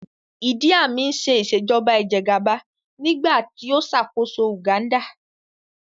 Ìdí Àmín ń ṣe Ìṣèjọ́ba ìjẹ́gàba nígbà tí ó ṣàkóso Uganda